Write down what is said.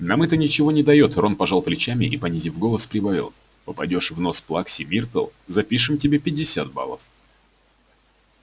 нам это ничего не даёт рон пожал плечами и понизив голос прибавил попадёшь в нос плаксе миртл запишем тебе пятьдесят баллов